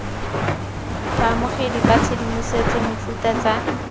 baamogedi ba tshedimosetso mefuta tsa